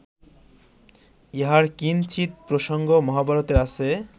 ইহার কিঞ্চিৎ প্রসঙ্গ মহাভারতে আছে